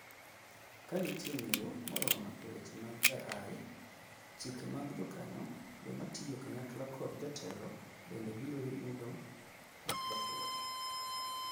Kanitie ng'eyo moromo eweche mag AI, chike mag jokanyo ,joma tiyo kanyakla kod jotelo bende biro nyudo lokruok.